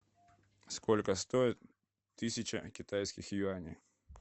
сколько стоит тысяча китайских юаней